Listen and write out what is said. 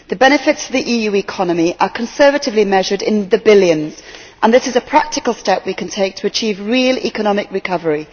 The benefits to the EU economy are conservatively measured in the billions, and this is a practical step we can take to achieve real economic recovery.